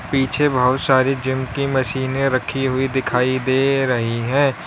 पीछे बहुत सारी जिम की मशीनें रखी हुई दिखाई दे रही हैं।